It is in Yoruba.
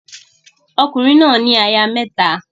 Ọkùnrin náà ní aya mẹ́ta.